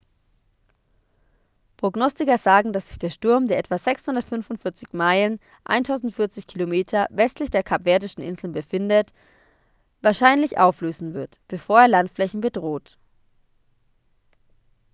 prognostiker sagen dass sich der sturm der etwa 645 meilen 1040 km westlich der kapverdischen inseln befindet wahrscheinlich auflösen wird bevor er landflächen bedroht